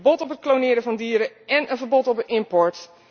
Een verbod op het klonen van dieren en een verbod op de import.